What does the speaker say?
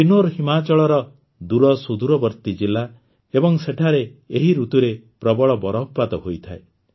କିନ୍ନୌର ହିମାଚଳର ଦୂରସୁଦୂରବର୍ତୀ ଜିଲା ଏବଂ ସେଠାରେ ଏହି ଋତୁରେ ପ୍ରବଳ ବରଫପାତ ହୋଇଥାଏ